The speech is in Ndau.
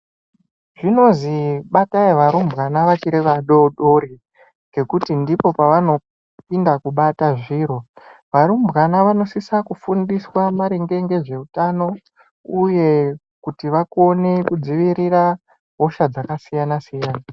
Zvinozi batai varumbwana vachiri vadodori ngekuti ndipo pavanopinda kubata zviro. Varumbwana vanosisa kufundiswa maringe ngezveutano uye kuti vakone kudzivirira hosha dzakasiyana siyana.